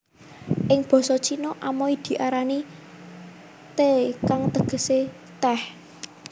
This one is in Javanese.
Ing basa Cina Amoy diarani Te kang tegesé tèh